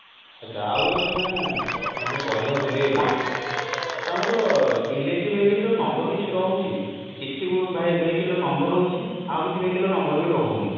ଆଛା ଆଉ ଗୋଟେ କଥା ମୁଁ ମଝିରେ କହିବାକୁ ଭୁଲି ଗଲି ଆମର electric vehicle ର number କିଛି ରହୁଛି କିଛି vehicle ର ନମ୍ବର ରହୁଛି ଆଉ କିଛି vehicle ର number ବି ରହୁନି